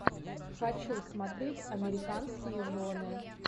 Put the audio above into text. хочу смотреть американские жены